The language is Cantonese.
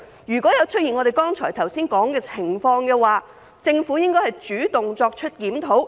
如果出現我們剛才所說的情況，政府應主動作出檢討。